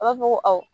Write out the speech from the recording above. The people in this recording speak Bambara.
A b'a fɔ ko awɔ